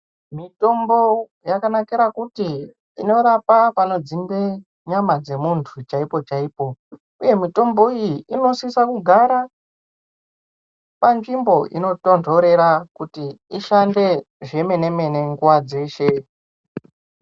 Mitombo yakanakira kuti inorapa panodzimba muntu chaipo chaipo uye mutombo iyi unosisa kugara panzvimbo inotonhorera kuti ishande zvemene mene nguwa dzeshe